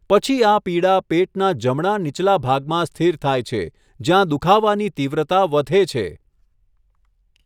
પછી આ પીડા પેટના જમણા નીચલા ભાગમાં સ્થિર થાય છે, જ્યાં દુખાવાની તીવ્રતા વધે છે.